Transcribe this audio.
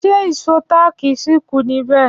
Ṣé ìsó táákì ṣékù níbẹ̀?